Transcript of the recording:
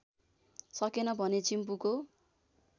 सकेन भने चिम्पुको